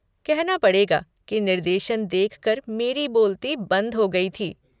कहना पड़ेगा कि निर्देशन देख कर मेरी बोलती बंद हो गई थी।